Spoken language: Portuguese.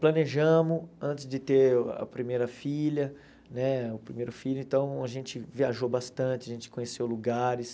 Planejamos antes de ter a primeira filha, né o primeiro filho, então a gente viajou bastante, a gente conheceu lugares.